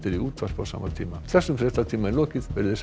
í útvarpi á sama tíma þessum fréttatíma er lokið verið þið sæl